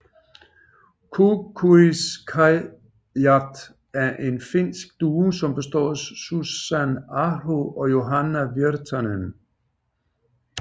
Kuunkuiskaajat er en finsk duo som består af Susan Aho og Johanna Virtanen